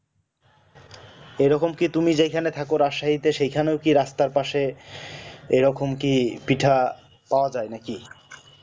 ওই রকম কি তুমি যেই খানে থাকো রাসায়িতে সেই খানেও কি রাস্তার পাশে এরকম কি পিঠা পাওয়া যায় নাকি